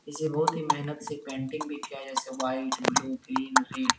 इस बहोत ही मेहनत से पेन्टिंग भी किया जैसे व्हाइट ब्लू ग्रीन --